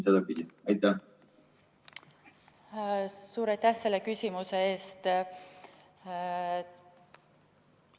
Suur aitäh selle küsimuse eest!